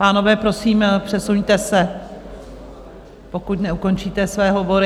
Pánové, prosím, přesuňte se, pokud neukončíte své hovory.